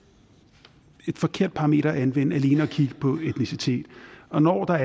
et forkert parameter at anvende altså alene at kigge på etnicitet og når der